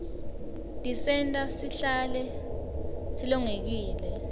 tisenta sihlale silolongekile